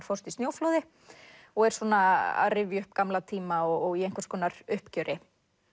fórst í snjóflóði er að rifja upp gamla tíma og í einhvers konar uppgjöri